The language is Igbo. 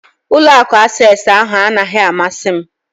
Ụlọ akụ Access ahụ anaghị amasị m